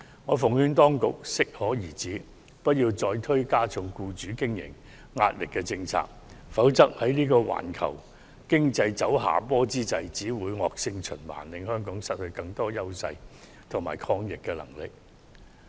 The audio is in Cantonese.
我奉勸當局要適可而止，不要再推行加重僱主經營壓力的政策，否則在環球經濟走下坡之際，只會造成惡性循環，令香港失去更多優勢和抗逆能力。